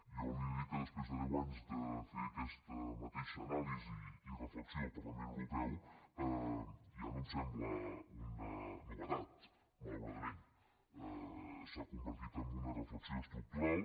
jo li he de dir que després de deu anys de fer aquesta mateixa reflexió al parlament europeu ja no em sembla una novetat malauradament s’ha convertit en una reflexió estructural